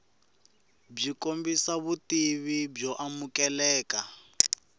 byi kombisa vutivi byo amukeleka